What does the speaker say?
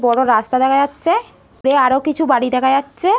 বড় রাস্তা দেখা যাচ্ছে দূরে আরও কিছু বাড়ি দেখা যাচ্ছে ।